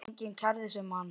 Enginn kærði sig um hann.